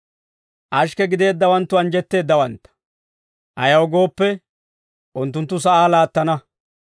Ashikke gideeddawanttu anjjetteeddawantta; ayaw gooppe, unttunttu sa'aa laattana.